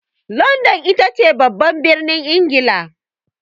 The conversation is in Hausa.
Landan itace babban birnin Ingila.